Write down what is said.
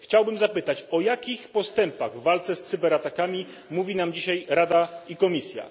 Chciałbym zapytać, o jakich postępach w walce z cyberatakami mówi nam dzisiaj Radai Komisja?